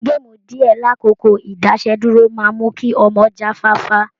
Gaamu díè lákókò ìdásẹ́dúró máa mú kí ọmọ jáfáfá.